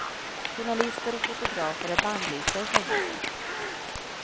Journalister och fotografer är bannlysta i fängelset.